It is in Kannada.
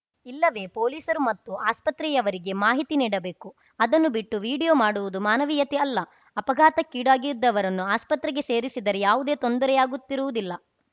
ಇಲ್ಲವೇ ಪೋಲೀಸರು ಮತ್ತು ಆಸ್ಪತ್ರೆಯವರಿಗೆ ಮಾಹಿತಿ ನೀಡಬೇಕು ಅದನ್ನು ಬಿಟ್ಟು ವಿಡೀಯೋ ಮಾಡುವುದು ಮಾನವೀಯತೆ ಅಲ್ಲ ಅಪಘಾತಕ್ಕೀಡಾಗಿದ್ದವರನ್ನು ಆಸ್ಪತ್ರೆಗೆ ಸೇರಿಸಿದರೆ ಯಾವುದೇ ತೊಂದರೆಯಾಗುತ್ತಿರುವುದಿಲ್ಲ